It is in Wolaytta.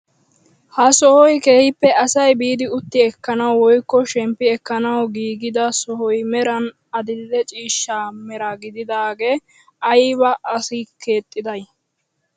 Ha sohoy keehippe asay biidi utti ekkanawu woykko shemppi ekkanawu giigida sohoy meran adil'e ciishsha mera gididagaa ayba asee keexxiday?